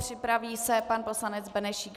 Připraví se pan poslanec Benešík.